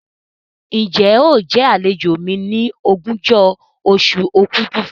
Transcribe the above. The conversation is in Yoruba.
Ǹjẹ́ óò jẹ àlejò mi ní ogúnjọ́ oṣù òkúdu?